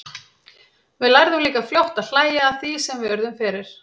Við lærðum líka fljótt að hlæja að því sem við urðum fyrir.